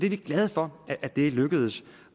er glade for at det er lykkedes